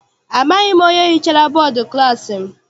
Amaghị m onye hichara bọdu klassi m.